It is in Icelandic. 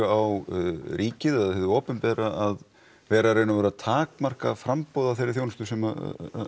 á ríkið að eða hið opinbera að vera að vera takmarka framboð á þeirri þjónustu sem